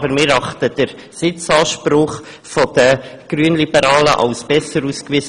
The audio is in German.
Doch wir erachten den Sitzanspruch der Grünliberalen als besser ausgewiesen.